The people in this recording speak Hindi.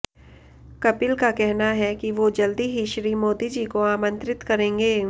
कपिल का कहना है कि वो जल्द ही श्री मोदी जी को आमंत्रित करेंगे